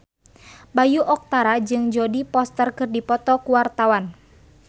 Bayu Octara jeung Jodie Foster keur dipoto ku wartawan